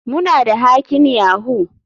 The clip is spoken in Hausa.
Muna da hacking yahoo.